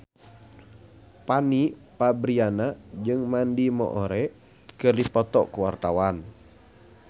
Fanny Fabriana jeung Mandy Moore keur dipoto ku wartawan